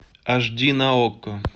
аш ди на окко